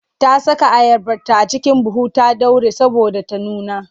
Ta saka ayabarta a cikin buhu ta ɗaure saboda ta nuna.